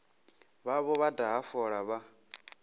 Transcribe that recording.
vhavho vha daha fola vha